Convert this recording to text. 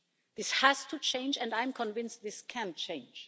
This has to change and I am convinced this can change.